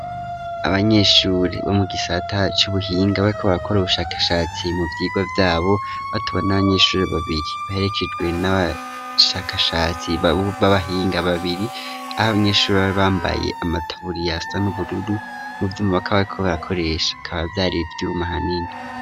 Abanyeshure bo mu gisata c'ubuhinga bako bakora ubushakashatsi mu byigo byabo batuba n'abanyeshuri babiri baherekejwe n'abashakashatsi b'abahinga babiri aho abanyeshuri bari bambaye amataburiyasa n'ubururu mu byo mu bakabikobakoresha bikaba vyari ivyuma hanini.